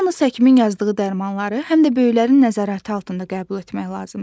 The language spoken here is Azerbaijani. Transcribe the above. Yalnız həkimin yazdığı dərmanları, həm də böyüklərin nəzarəti altında qəbul etmək lazımdır.